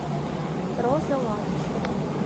роза латышева